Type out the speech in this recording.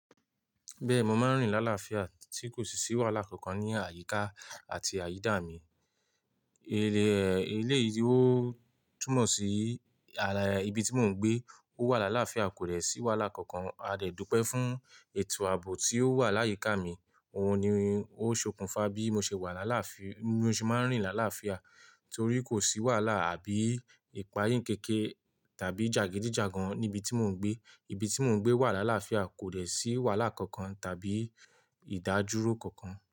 Bẹ́ẹ̀ni, mo máa ń rìn láláàfíà tí kò sì ṣì wàhálà kankan ní àyíká àti àyídà mi. Eléè, eléè rí, ó túmọ̀ sí ibi tí mò ń gbé, ó wà láláàfíà kò dẹ̀ sí wàhálà kankan. A dẹ̀ dùpẹ́ fún ètò ààbò tí ó wà láyíká mi. Òun ni ó ṣokùnfà bí mo ṣe wà láláàfíà, mo ṣe máa ń rìn láláàfíà torí kò sí wàhálà àbí ìpayínkeke tàbí jàgídíjàgan níbi tí mò ń gbé. Ibi tí mò ń gbé wà láláàfíà kò dẹ̀ sí wàhálà kankan tàbí ìdádúró kankan.